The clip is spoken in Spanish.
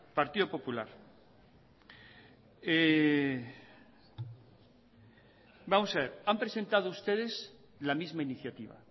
vamos a ver han presentado ustedes la misma iniciativa